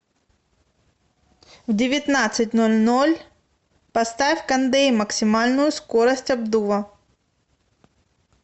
в девятнадцать ноль ноль поставь кондей максимальную скорость обдува